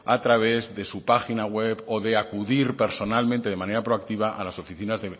a través de su página web o de acudir personalmente de manera proactiva a las oficinas